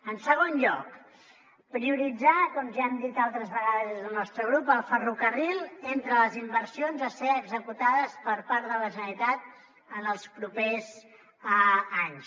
en segon lloc prioritzar com ja hem dit altres vegades des del nostre grup el ferrocarril entre les inversions a ser executades per part de la generalitat en els propers anys